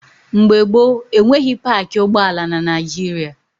Mgbe gboo, enweghị paakị ụgbọala na Naịjịrịa.